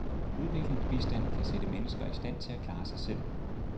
Udviklingsbistand skal sætte mennesker i stand til at klare sig selv.